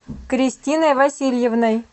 кристиной васильевной